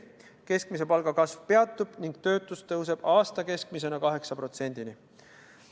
Keskmise palga kasv peatub ning töötus tõuseb aasta keskmisena 8%-ni.